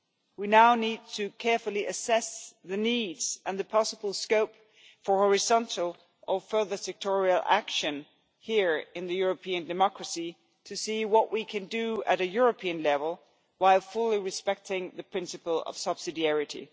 We now need carefully to assess the needs and the possible scope for horizontal or further sectoral action here in the European democracy to see what we can do at a European level while fully respecting the principle of subsidiarity.